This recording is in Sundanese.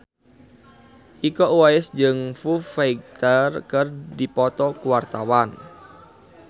Iko Uwais jeung Foo Fighter keur dipoto ku wartawan